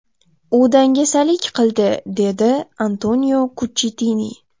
U dangasalik qildi”, dedi Antonio Kuchchitini.